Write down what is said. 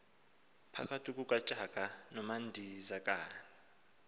phakathi kukatshaka nomadzikane